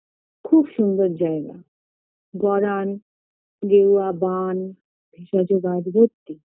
খুব সুন্দর জায়গা গরান গেরুয়া বান ভেষজ ও গাছ ভরতি